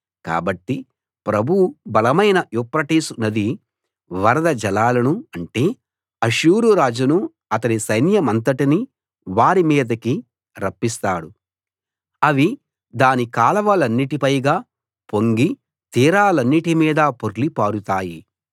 కాబట్టి ప్రభువు బలమైన యూఫ్రటీసు నది వరద జలాలను అంటే అష్షూరు రాజును అతని సైన్యమంతటిని వారి మీదికి రప్పిస్తాడు అవి దాని కాలవలన్నిటి పైగా పొంగి తీరాలన్నిటి మీదా పొర్లి పారుతాయి